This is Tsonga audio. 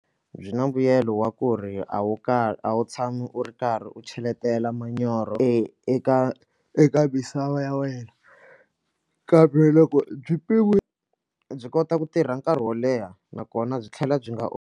Byi na mbuyelo wa ku ri a wu a wu tshami u ri karhi u cheletela manyoro e eka misava ya wena kambe loko byi byi kota ku tirha nkarhi wo leha nakona byi tlhela byi nga.